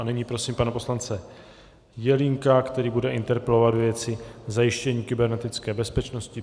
A nyní prosím pana poslance Jelínka, který bude interpelovat ve věci zajištění kybernetické bezpečnosti.